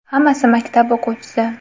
Hammasi maktab o‘quvchisi.